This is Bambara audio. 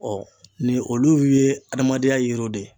ni olu ye adamadenya yiriw de ye.